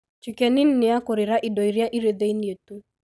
chicken inn ni yakukũrĩra indo iria irĩ thĩinĩ tu